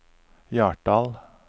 Hjartdal